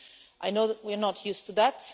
I know that we are not used to that.